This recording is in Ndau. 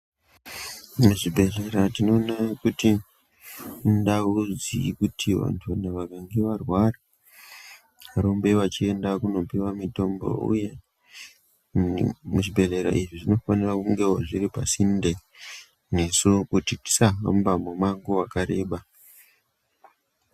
Muzvibhehlera tinoona kuti indau dzekuti vantu vakange varwara varumbe vachienda kunopiwa mitombo uye muzvibhehlera izvi zvinofanira kungewo zviri pasinde nesu kuti tisahamba mumango wakareba.